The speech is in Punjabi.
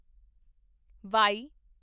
ਵਾਈ